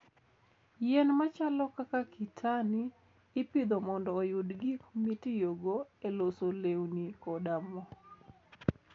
Yien machalo kaka kitani ipidho mondo oyud gik mitiyogo e loso lewni koda mo.